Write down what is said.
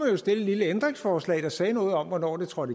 jo stille et lille ændringsforslag der sagde noget om hvornår det skulle